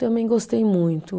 Também gostei muito.